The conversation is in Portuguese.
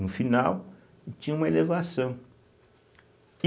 No final, tinha uma elevação.